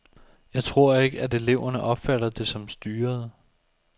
Jeg tror ikke, at eleverne opfatter det som styret.